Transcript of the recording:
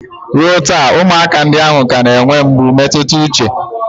Ruo taa, ụmụaka ndị ahụ ka na-enwe mgbu mmetụta uche